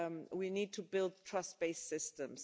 We need to build trust based systems.